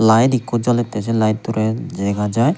lite ekko jolette se layettorey dega jai.